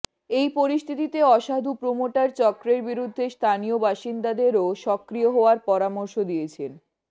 এই পরিস্থিতিতে অসাধু প্রোমোটার চক্রের বিরুদ্ধে স্থানীয় বাসিন্দাদেরও সক্রিয় হওয়ার পরামর্শ দিয়েছেন